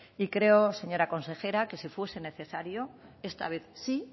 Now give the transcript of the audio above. y creo señora consejera que si fuese necesario esta vez sí